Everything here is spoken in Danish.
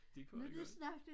Det kunne han godt